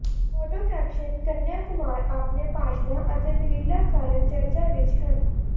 photo caption Kanhaiya Kumar ਆਪਣੇ ਭਾਸ਼ਣਾਂ ਅਤੇ ਦਲੀਲਾਂ ਕਾਰਨ ਚਰਚਾ ਵਿਚ ਹਨ